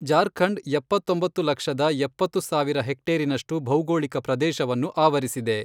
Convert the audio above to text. ಜಾರ್ಖಂಡ್ ಎಪ್ಪತ್ತೊಂಬತ್ತು ಲಕ್ಷದ ಎಪ್ಪತ್ತು ಸಾವಿರ ಹೆಕ್ಟೇರಿನಷ್ಟು ಭೌಗೋಳಿಕ ಪ್ರದೇಶವನ್ನು ಆವರಿಸಿದೆ.